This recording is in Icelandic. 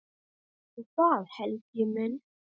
Viltu það, Helgi minn?